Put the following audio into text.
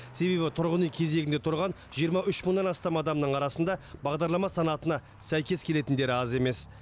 себебі тұрғын үй кезегінде тұрған жиырма үш мыңнан астам адамның арасында бағдарлама санатына сәйкес келетіндері аз емес